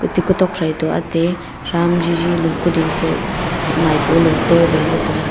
te kutok thraito ate thram jijilo kuding fe fa maipolo taleley taga.